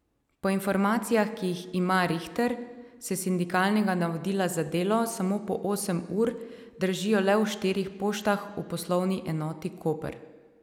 Po informacijah, ki jih ima Rihter, se sindikalnega navodila za delo samo po osem ur držijo le v štirih poštah v Poslovni enoti Koper.